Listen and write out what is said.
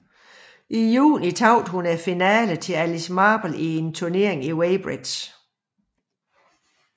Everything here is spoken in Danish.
I juni tabte hun finalen til Alice Marble i turneringen i Weybridge